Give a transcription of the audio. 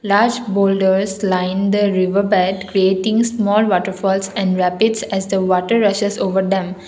large holders line the river bed creating small waterfalls and rapids at the water resource over them.